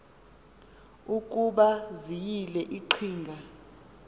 ukuba ziyile iqhinga